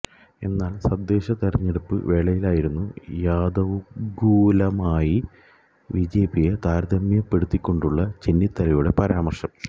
എന്നാൽ തദ്ദേശ തെരഞ്ഞെടുപ്പ് വേളയിലായിരുന്നു യാദവകുലവുമായി ബിജെപിയെ താരതമ്യപ്പെടുത്തികൊണ്ടുള്ള ചെന്നിത്തലയുടെ പരാമര്ശം